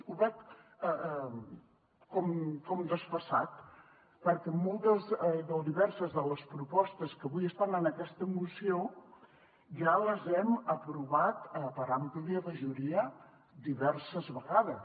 ho veig com desfasat perquè moltes o diverses de les propostes que avui estan en aquesta moció ja les hem aprovat per àmplia majoria diverses vegades